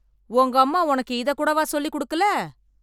உங்க அம்மா உனக்கு இத கூடவா சொல்லி கொடுக்கல